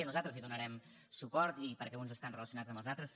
nosaltres hi donarem suport perquè uns estan relacionats amb els altres